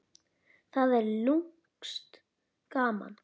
Það er lúmskt gaman.